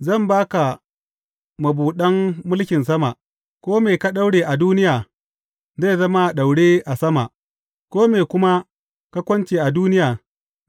Zan ba ka mabuɗan mulkin sama; kome ka daure a duniya zai zama a daure a sama, kome kuma ka kunce a duniya